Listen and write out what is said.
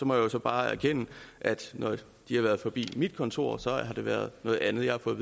må jeg så bare erkende at når de har været forbi mit kontor har det været noget andet jeg har fået